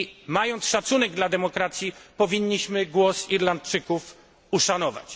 Mając szacunek dla demokracji, powinniśmy głos Irlandczyków uszanować.